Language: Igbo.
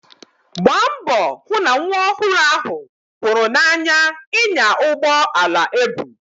Gbaa mbọ hụ na nwa ọhụrụ ahụ hụrụ n'anya ịnya ụgbọ ala ebu.